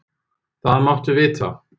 Það máttu vita.